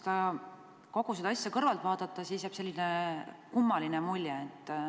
Kui kogu seda asja kõrvalt vaadata, siis jääb selline kummaline mulje.